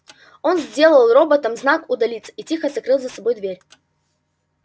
он сделал роботам знак удалиться и тихо закрыл за собой дверь